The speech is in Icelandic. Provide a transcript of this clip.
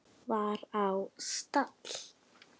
var á stall.